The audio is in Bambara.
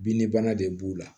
Binnibana de b'u la